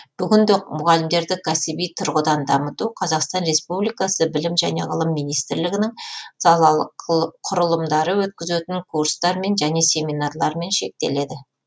бүгінде мұғалімдерді кәсіби тұрғыдан дамыту қазақстан республикасы білім және ғылым министрлігінің салалық құрылымдары өткізетін курстармен және семинарлармен шектеледі